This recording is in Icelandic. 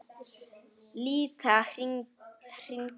Líta hingað!